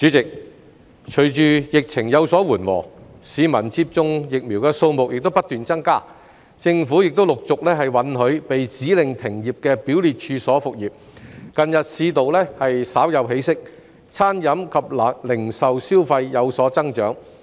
主席，隨着疫情有所緩和，已接種疫苗的市民數目不斷增加，政府亦陸續允許被指令停業的表列處所復業，近日市道稍有起色，餐飲及零售消費有所增長。